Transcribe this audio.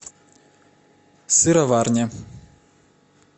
сыроварня